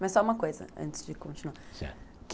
Mas só uma coisa antes de continuar, certo.